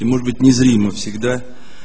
и может быть незримо всегда